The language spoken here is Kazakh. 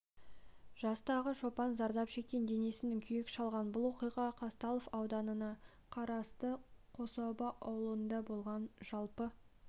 жастағы шопан зардап шеккен денесінің күйік шалған бұл оқиға қазталов ауданына қарасты қособа ауылында болған жалпы